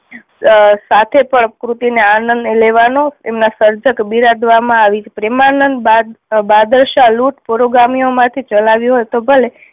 આહ સાથે પણ કૃતિ ને આનંદ લેવાનો એમના સર્જક બિરાદવામાં આવી છે. પ્રેમાનંદ બા બાદલશા લુંટ પૂર્વ ગામીઓ માં થી ચલાવ્યું હોય તો ભલે